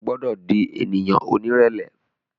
O gbọdọ di ènìyàn onírẹlẹ